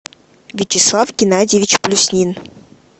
вячеслав геннадьевич плюснин